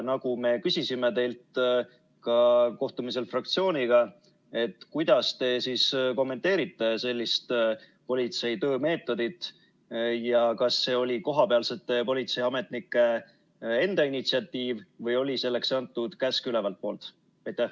Nagu me küsisime teilt ka kohtumisel fraktsiooniga: kuidas te kommenteerite sellist politsei töömeetodit ja kas see oli kohapealsete politseiametnike enda initsiatiiv või oli selleks antud käsk ülevalt poolt?